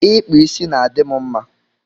Ịkpa isi na-adị m mma